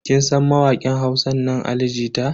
Kin san mawakin Hausa nan Ali jita?